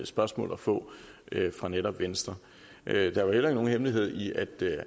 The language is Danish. spørgsmål at få fra netop venstre der er jo heller ingen hemmelighed i at